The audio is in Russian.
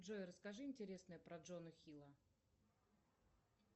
джой расскажи интересное про джона хилла